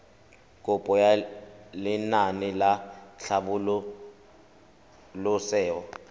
kopo ya lenaane la tlhabololosewa